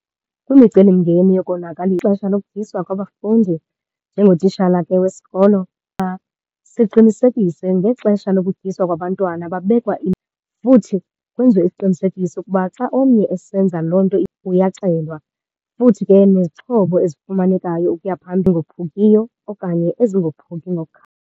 Kwimicelimngeni ixesha lokutyiswa kwabafundi, njengotishala ke wesikolo siqinisekise ngexesha lokutyiswa kwabantwana. Babekwa futhi kwenziwe isiqinisekiso ukuba xa omnye esenza loo nto uyaxelwa. Futhi ke nezixhobo ezifumanekayo ukuya phambili okanye ezingophuki .